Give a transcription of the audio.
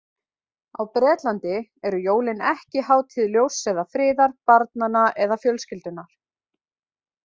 Á Bretlandi eru jólin ekki hátíð ljóss eða friðar, barnanna eða fjölskyldunnar.